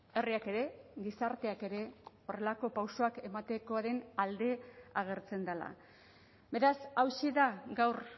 herriak ere gizarteak ere horrelako pausoak ematekoaren alde agertzen dela beraz hauxe da gaur